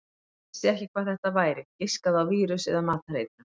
Hann vissi ekki hvað þetta væri, giskaði á vírus eða matareitrun.